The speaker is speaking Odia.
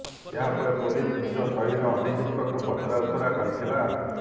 ଏହା ପରେ ପୋଲିସ୍ ନିଜ ଶୈଳୀରେ ଅଭିଯୁକ୍ତଙ୍କୁ ପଚରାଉଚୁରା କରିଥିଲା